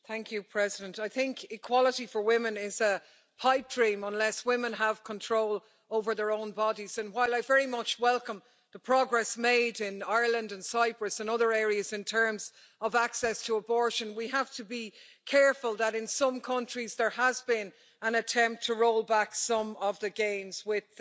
Madam President, I think equality for women is a pipe dream unless women have control over their own bodies, and while I very much welcome the progress made in Ireland and Cyprus in other areas in terms of access to abortion, we have to be careful that in some countries there has been an attempt to roll back some of the gains, with